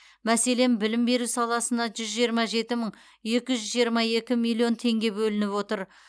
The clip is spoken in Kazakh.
мәселен білім беру саласына жүз жиырма жеті мың екі жүз жиырма екі миллион теңге бөлініп отыр